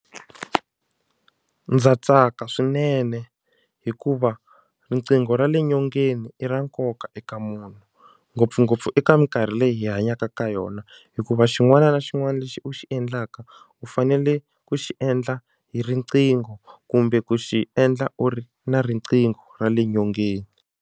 Ndza tsaka swinene hikuva riqingho ra le nyongeni i ra nkoka eka munhu ngopfungopfu eka minkarhi leyi hi hanyaka ka yona hikuva xin'wana na xin'wana lexi u xi endlaka u fanele ku xi endla hi riqingho kumbe ku xi endla u ri na riqingho ra le nyongeni.